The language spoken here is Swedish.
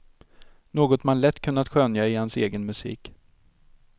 Något man lätt kunnat skönja i hans egen musik.